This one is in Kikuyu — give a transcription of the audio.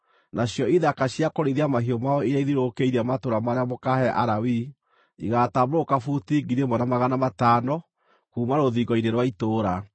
“Nacio ithaka cia kũrĩithia mahiũ mao iria ithiũrũrũkĩirie matũũra marĩa mũkaahe Alawii, igaatambũrũka buti 1,000 na magana matano kuuma rũthingo-inĩ rwa itũũra.